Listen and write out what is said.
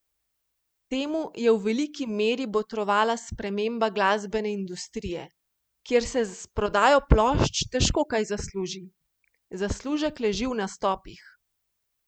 Temu je v veliki meri botrovala sprememba glasbene industrije, kjer se s prodajo plošč težko kaj zasluži, zaslužek leži v nastopih.